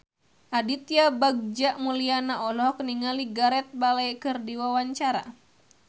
Aditya Bagja Mulyana olohok ningali Gareth Bale keur diwawancara